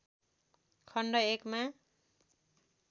खण्ड १ मा